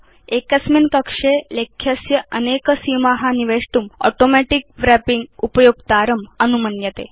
एकस्मिन् कक्षे लेख्यस्य अनेक सीमा निवेष्टुं ऑटोमेटिक रैपिंग उपयोक्तारम् अनुमन्यते